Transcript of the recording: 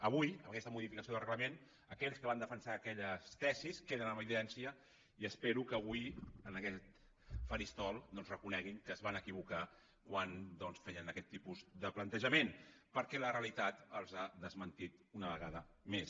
avui amb aquesta modificació del reglament aquells que van defensar aquelles tesis queden en evidència i espero que avui en aquest faristol reconeguin que es van equivocar quan feien aquest tipus de plantejament perquè la realitat els ha desmentit una vegada més